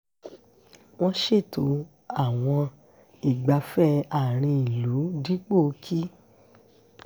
wọ́n ṣètò àwọn ìgbáfẹ̀ àárín ìlú dípò kí